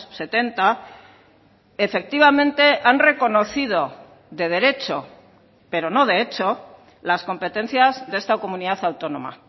setenta efectivamente han reconocido de derecho pero no de hecho las competencias de esta comunidad autónoma